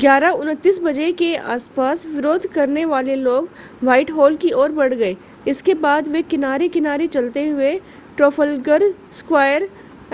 11:29 बजे के आस-पास विरोध करने वाले लोग व्हाइटहॉल की ओर बढ़ गए इसके बाद वे किनारे-किनारे चलते हुए ट्राफ़ल्गर स्क्वायर